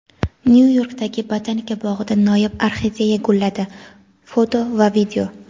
Nyu-Yorkdagi Botanika bog‘ida noyob orxideya gulladi (foto va video).